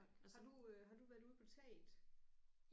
Har du øh har du været ude på taget?